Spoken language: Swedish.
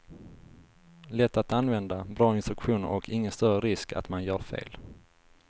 Lätt att använda, bra instruktioner och ingen större risk att man gör fel.